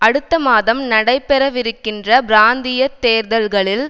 அடுத்த மாதம் நடைபெறவிருக்கின்ற பிராந்திய தேர்தல்களில்